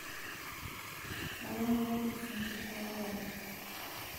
kayieu nayierr isingir o olgali